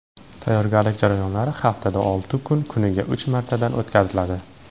Tayyorgarlik jarayonlari haftada olti kun, kuniga uch martadan o‘tkaziladi.